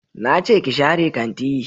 Na ce ki share kanti